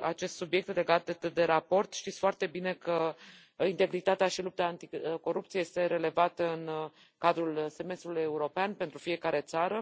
acest subiect legat de raport știți foarte bine că integritatea și lupta anticorupție sunt relevate în cadrul semestrului european pentru fiecare țară